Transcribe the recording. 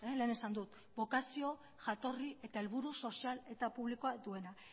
lehen esan dut bokazio jatorri eta helburu sozial eta publikoa duena